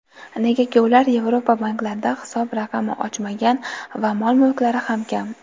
Negaki ular Yevropa banklarida hisob raqami ochmagan va mol-mulklari ham kam.